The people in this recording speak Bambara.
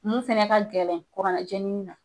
Mun fɛnɛ ka gɛlɛn kurannajenni na.